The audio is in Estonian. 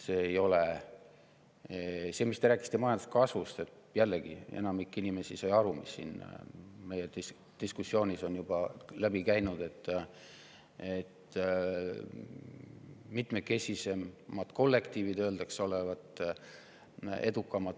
See, mis te rääkisite majanduskasvust – jällegi, enamik inimesi sai sellest aru, mis siit meie diskussioonist on juba läbi käinud, et mitmekesisemad kollektiivid öeldakse olevat edukamad.